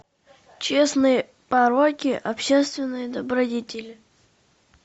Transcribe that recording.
частные пороки общественные добродетели